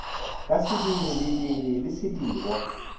ka sediri lediri le sedirwa